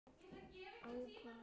Ákvað að læðast inn.